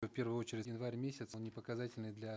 в первую очередь январь месяц он не показательный для